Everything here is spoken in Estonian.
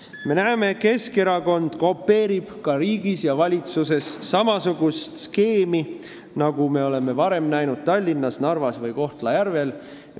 Me näeme, et Keskerakond kopeerib ka riigis ja valitsuses samasugust skeemi, nagu me oleme varem näinud Tallinnas, Narvas või Kohtla-Järvel.